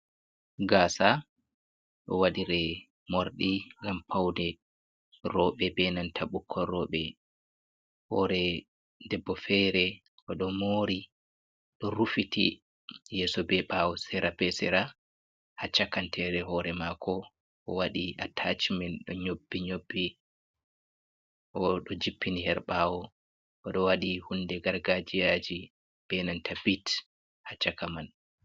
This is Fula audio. Gasa ɗo waɗire morɗi ngam paune, rooɓe be nanta bukkoi rooɓe, hore debbo fere o ɗo mori ɗo rufiti yeso be ɓawo sera be sera, ha chakantere hore mako o waɗi atacmen, ɗo nyobbi nyobbi o ɗo jippini Har ɗawo, o ɗo waɗi hunde gargajiyaji, be nanta bit ha chaka man.